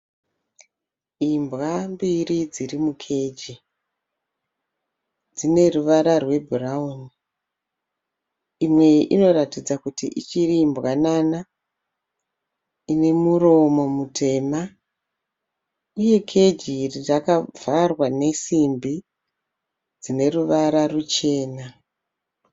Imbwa mbiri dziri mukeji. Dzine ruvara rwebhurawuni. Imwe inoratidza kuti ichiri mbwanana ine muromo mutema uye keji iri rakavharwa nesimbi dzine ruvara ruchena.